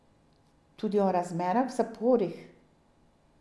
Tudi o razmerah v zaporih.